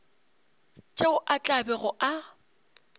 tšeo a tla bego a